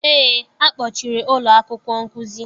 Eé, akpọchiri ụlọ akwụkwọ nkuzi.